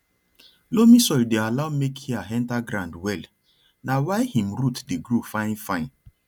loamy soil dey allow make air enter ground wellna why him root dey grow fine fine